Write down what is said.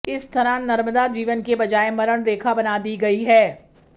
इस तरह नर्मदा जीवन के बजाय मरण रेखा बना दी गई है